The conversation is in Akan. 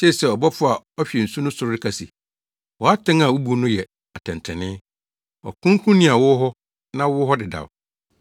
Metee sɛ ɔbɔfo a ɔhwɛ nsu so no reka se, “Wʼatɛn a wubu no yɛ atɛntrenee. Ɔkronkronni a wowɔ hɔ na wowɔ ha dedaw,